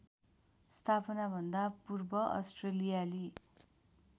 स्थापनाभन्दा पूर्व अस्ट्रेलियाली